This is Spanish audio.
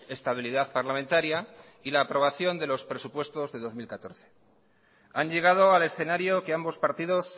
estabilidad parlamentaria y la aprobación de los presupuestos del dos mil catorce han llegado al escenario que ambos partidos